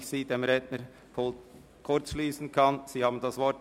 Herr Ruchti, Sie haben das Wort.